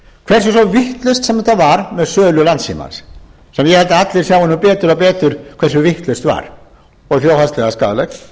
hversu svo vitlaust sem það var með sölu landssímans sem ég held að allir sjái nú betur og betur hversu vitlaust var og þjóðhagslega skaðlegt